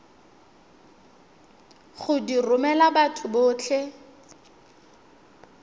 go di romela batho botlhe